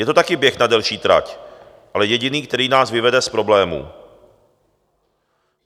Je to taky běh na delší trať, ale jediný, který nás vyvede z problémů.